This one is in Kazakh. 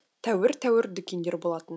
тәуір тәуір дүкендер болатын